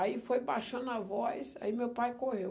Aí foi baixando a voz, aí meu pai correu.